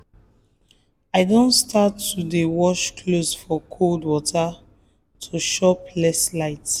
i don start to dey wash clothes for cold water to chop less light.